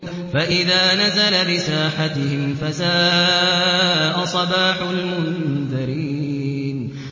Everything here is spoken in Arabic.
فَإِذَا نَزَلَ بِسَاحَتِهِمْ فَسَاءَ صَبَاحُ الْمُنذَرِينَ